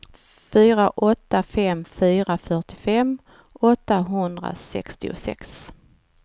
fyra åtta fem fyra fyrtiofem åttahundrasextiosex